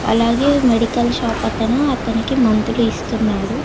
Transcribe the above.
అలాగే medical shop అతను అతనికి మందులు ఇస్తున్నాడు.